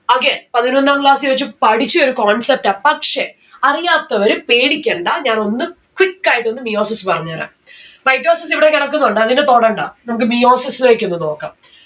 again പതിനൊന്നാം class ൽ വച്ചു പഠിച്ചൊരു concept ആ പക്ഷെ, അറിയാത്തവര് പേടിക്കണ്ട ഞാൻ ഒന്ന് quick ആയിട്ടൊന്ന് meiosis പറഞ്ഞേരാം. mitosis ഇവിടെ കെടക്കുന്നുണ്ട് അതിനെ തൊടണ്ട നമ്മുക്ക് meiosis ഇലെക്കൊന്ന് നോക്കാം